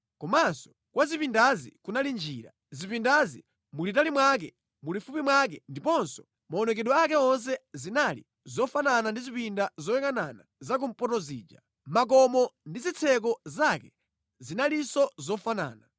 Kumaso kwa zipindazi kunali njira. Zipindazi mulitali mwake, mulifupi mwake ndiponso maonekedwe ake onse zinali zofanana ndi zipinda zoyangʼana zakumpoto zija. Makomo ndi zitseko zake zinalinso zofanana